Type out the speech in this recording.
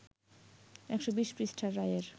১২০ পৃষ্ঠার রায়ের